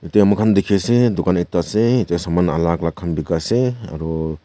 te mokhan dikhiase dukan ekta ase yatae saman alak alak khan bikai ase aro.